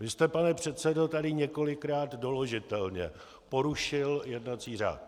Vy jste, pane předsedo, tady několikrát doložitelně porušil jednací řád.